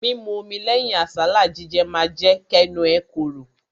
Mímu omi lẹ́yìn àsálà jíjẹ ma jẹ́ kẹ́nu ẹ korò.